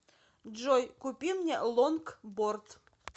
джой купи мне лонгборд